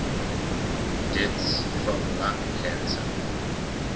deaths from lung cancer